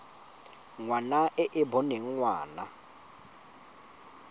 ngwana e e boneng ngwana